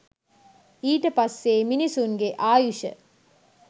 ඊට පස්සේ මිනිසුන්ගේ ආයුෂ